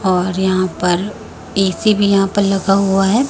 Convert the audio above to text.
और यहां पर एसी भी यहां पर लगा हुआ है।